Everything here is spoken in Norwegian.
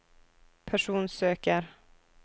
personsøker